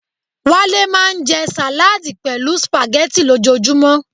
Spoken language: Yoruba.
Wale maa nje salaadi pelu spaghetti lojoojumo